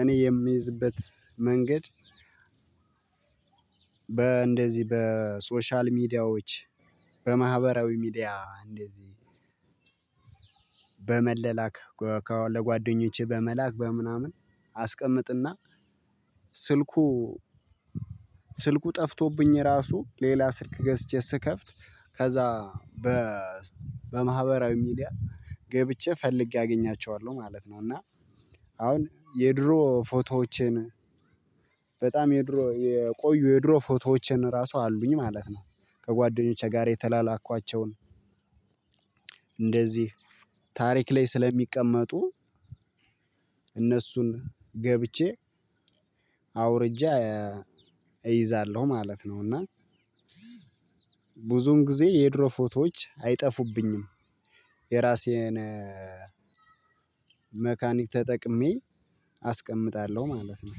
እኔ የሚይዝበት መንገድ። በእንደዚህ በሶሻል ሚዲያዎች በማህበራዊ ሚዲያ እንደዚህ። በመለላክ ከጓደኞቼ በመላክ በምናምን አስቀምጥና። ስልኩ ስልኩ ጠፍቶብኝ ራሱ ሌላ ስልክ ገዝቼ ስከፍት ከዛ በማህበራዊ ሚዲያ ገብቼ ፈልጌ አገኛቸዋለሁ ማለት ነው። እና አሁን የድሮ ፎቶዎቼን በጣም የድሮ የቆዩ የድሮ ፎቶዎቼን ራሱ አሉኝ ማለት ነው። ከጓደኞቼ ጋር የተላላኳቸውን እንደዚህ ታሪክ ላይ ስለሚቀመጡ። እነሱን ገብቼ አውርጄ እይዛለሁ ማለት ነው። እና ብዙን ጊዜ የድሮ ፎቶዎች አይጠፉብኝም። የራሴን መካኒክ ተጠቅሜ አስቀምጣለው ማለት ነው።